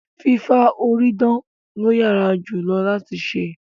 Fìfà orí dán lo yára jù lọ láti se